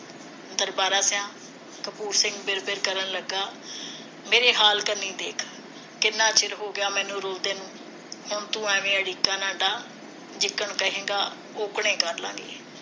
ਦਰਬਾਰਾ ਸਿਹਾ ਕਪੂਰ ਸਿੰਘ ਬਿਲ ਬਿਲ ਕਰਨ ਲੱਗਾ ਮੇਰੀ ਹਾਲਤ ਨੀ ਦੇਖ ਕਿੰਨਾ ਚਿਰ ਹੋ ਗਿਆ ਮੈਨੂੰ ਰੁਲਦੇ ਨੂੰ ਹੁਣ ਤੂੰ ਐਵੇ ਅੜੀਕਾ ਨਾ ਡਾਹ ਕਹੇਗਾ ਉਕਣੇ ਕਰਲਾਂਗੇ